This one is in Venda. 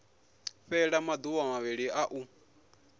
fhela maduvha mavhili a u